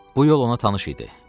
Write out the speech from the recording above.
Bu yol ona tanış idi.